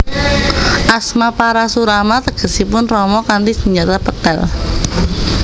Asma Parashurama tegesipun Rama kanthi senjata pethèl